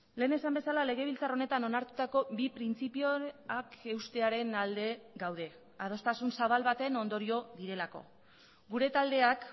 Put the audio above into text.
lehen esan bezala legebiltzar honetan onartutako bi printzipioak eustearen alde gaude adostasun zabal baten ondorio direlako gure taldeak